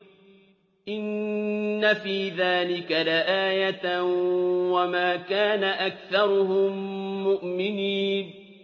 إِنَّ فِي ذَٰلِكَ لَآيَةً ۖ وَمَا كَانَ أَكْثَرُهُم مُّؤْمِنِينَ